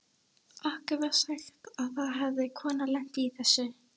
Okkur var sagt að það hefði kona lent í þessu.